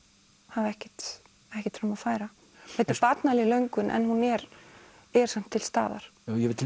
hafa ekkert ekkert fram að færa þetta er barnaleg löngun en hún er er samt til staðar ég veit til